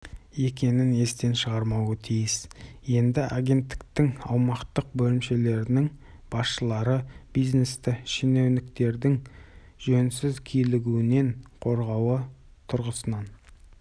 бағаланады бизнес те пара беруге заңды бұзуға бейім болып тұрмауы керек бұл мәселеде ұстанымымыз айқын